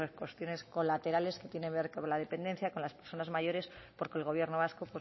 con otras cuestiones colaterales que tienen que ver como la dependencia con las personas mayores porque el gobierno vasco